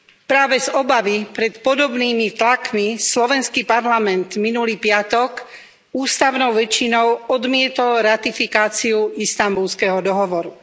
Práve z obavy pred podobnými tlakmi slovenský parlament minulý piatok ústavnou väčšinou odmietol ratifikáciu Istanbulského dohovoru.